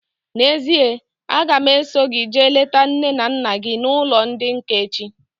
N'ezie, a ga m eso gị jee leta nne na nna gị n'ụlọ ndị nká echi